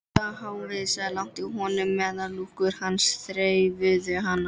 Það hvásaði lágt í honum meðan lúkur hans þreifuðu hana.